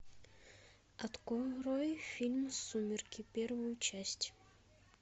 открой фильм сумерки первую часть